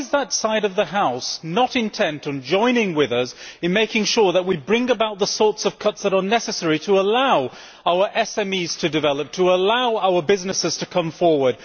Why is that side of the House not intent on joining with us in making sure that we bring about the sorts of cuts that are necessary to allow our SMEs to develop and to allow our businesses to move forward?